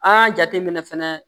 A y'a jate minɛ fɛnɛ